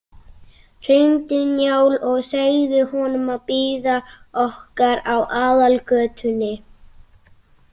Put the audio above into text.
Hringdu í Njál og segðu honum að bíða okkar á aðalgötunni.